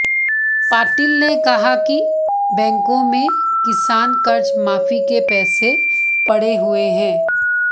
पाटील ने कहा कि बैंकों में किसान कर्ज माफी के पैसे पड़े हुए हैं